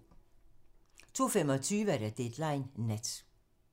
02:25: Deadline nat